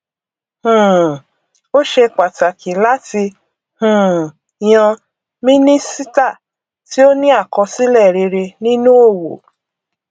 um ó ṣe pàtàkí láti um yan mínísítà tí ó ní àkọsílẹ rere nínu òwò